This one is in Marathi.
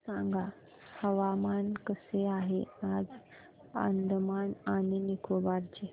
सांगा हवामान कसे आहे आज अंदमान आणि निकोबार चे